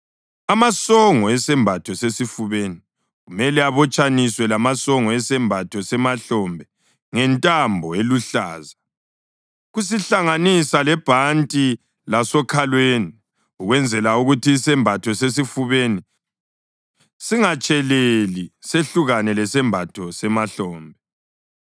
Amasongo esembatho sesifubeni kumele abotshaniswe lamasongo esembatho semahlombe ngentambo eluhlaza, kusihlanganisa lebhanti lasokhalweni, ukwenzela ukuthi isembatho sesifubeni singatsheleli sehlukane lesembatho semahlombe.